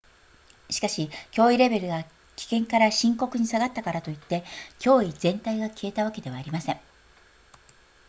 「しかし、脅威レベルが「危険」から「深刻」に下がったからといって脅威全体が消えたわけではありません」